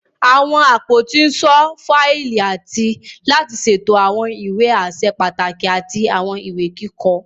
Àwọn àpótí n ṣọ fáìlì àti láti ṣètò àwọn ìwé aṣẹ pàtàkì àti àwọn ìwé kíkọ.